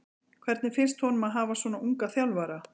Hvernig finnst honum að hafa svona ungan þjálfara?